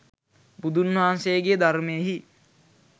බුදුන් වහන්සේගේ ධර්මයෙහි